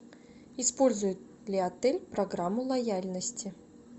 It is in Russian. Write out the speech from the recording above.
использует ли отель программу лояльности